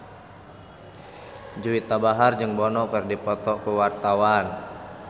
Juwita Bahar jeung Bono keur dipoto ku wartawan